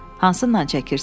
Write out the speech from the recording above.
Hansından çəkirsən?